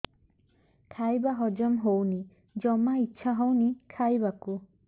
ଖାଇବା ହଜମ ହଉନି ଜମା ଇଛା ହଉନି ଖାଇବାକୁ